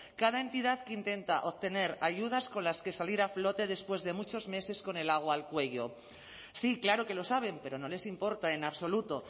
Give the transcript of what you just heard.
cada entidad que intenta obtener ayudas con las que salir a flote después de muchos meses con el agua al cuello sí claro que lo saben pero no les importa en absoluto